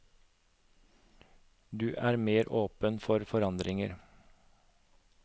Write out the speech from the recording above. Du er mer åpen for forandringer.